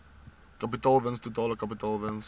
kapitaalwins totale kapitaalwins